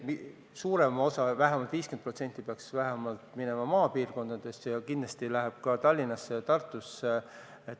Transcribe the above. Suurem osa, vähemalt 50% sellest peaks minema maapiirkondadesse, aga kindlasti läheb seda raha ka Tallinnasse ja Tartusse.